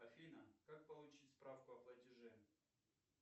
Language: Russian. афина как получить справку о платеже